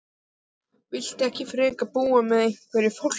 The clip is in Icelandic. Viltu ekki frekar búa með einhverju fólki?